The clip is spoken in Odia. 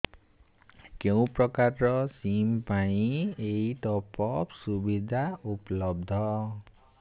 କେଉଁ ପ୍ରକାର ସିମ୍ ପାଇଁ ଏଇ ଟପ୍ଅପ୍ ସୁବିଧା ଉପଲବ୍ଧ